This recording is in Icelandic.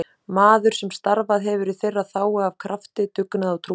Maður sem starfað hefur í þeirra þágu af krafti, dugnaði og trúmennsku.